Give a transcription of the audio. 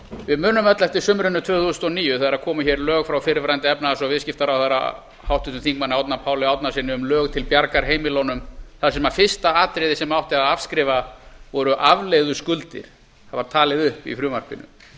við munum öll eftir sumrinu tvö þúsund og níu þegar komu hér lög frá fyrrverandi efnahags og viðskiptaráðherra háttvirtum þingmanni árna páli árnasyni um lög til bjargar heimilunum þar sem fyrsta atriðið sem átti að afskrifa voru afleiðuskuldir það var talið upp í frumvarpinu